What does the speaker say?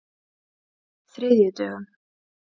þriðjudögum